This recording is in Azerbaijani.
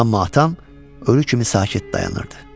Amma atam ölü kimi sakit dayanırdı.